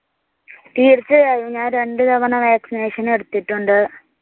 തീർച്ചയായും. ഞാൻ രണ്ടു തവണ വാക്സിനേഷൻ എടുത്തിട്ടുണ്ട്.